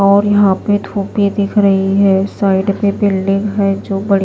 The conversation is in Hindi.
और यहां पे धूप भी दिख रही है साइड पे बिल्डिंग है जो बढ़ --